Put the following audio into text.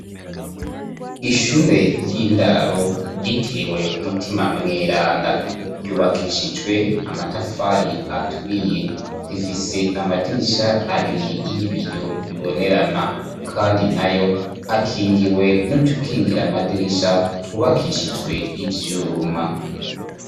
Ishure ry'indaro yitiriwe Mutima Mweranda ryubakishijwe amatafari aturiye. Rifise amadirisha abiri y'ibiyo bibonerana; kandi nayo akingiwe n'utukingira amadirisha twubakishijwe ivyuma.